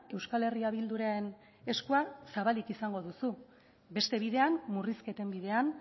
euskal herria bilduren eskua zabalik izango duzu beste bidean murrizketen bidean